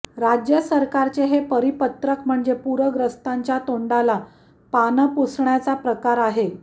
राज्य सरकारचे हे परिपत्रक म्हणजे पूरग्रस्तांच्या तोंडाला पानं पुसण्याचा प्रकार आहे